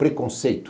Preconceito.